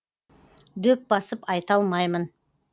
дөп басып айта алмаймын